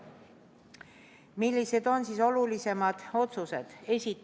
Millised on olulisemad otsused?